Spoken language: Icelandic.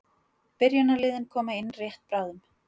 Byrjunarliðin koma inn rétt bráðum.